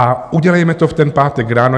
A udělejme to v ten pátek ráno.